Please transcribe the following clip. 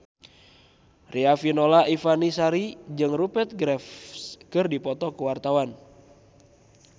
Riafinola Ifani Sari jeung Rupert Graves keur dipoto ku wartawan